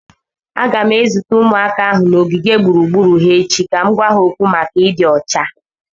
M ga-ezute ụmụaka ahụ n’ogige egwuregwu ha echi ka m gwa ha okwu gbasara ịdị ọcha.